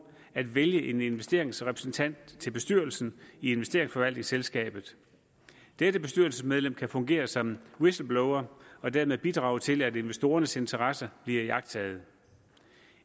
at vælge en investeringsrepræsentant til bestyrelsen i investeringsforvaltningsselskabet dette bestyrelsesmedlem kan fungere som whistleblower og dermed bidrage til at investorernes interesser bliver iagttaget